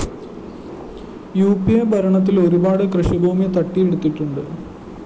ഉ P A ഭരണത്തില്‍ ഒരുപാട് കൃഷിഭൂമി തട്ടിയെടുത്തിട്ടുണ്ട്